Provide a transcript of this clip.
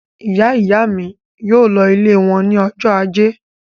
Ìyá-ìyá mi yóò lọ ilé wọn ní ọjọ́ ajé.